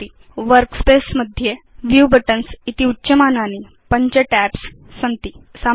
यथा भवान् पश्यति यत् वर्कस्पेस मध्ये व्यू बटन्स इति उच्यमानानि पञ्च टैब्स् सन्ति साम्प्रतं नॉर्मल tab चितमस्ति